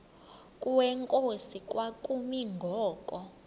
kwenkosi kwakumi ngoku